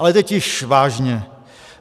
Ale teď již vážně.